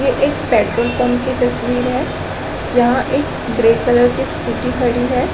ये एक petrol pump की तस्वीर है यहाँ एक ग्रे कलर की स्कूटी खड़ी है।